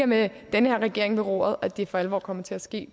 med den her regering ved roret at der for alvor kommer til at ske